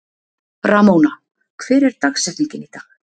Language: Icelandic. Ramóna, hver er dagsetningin í dag?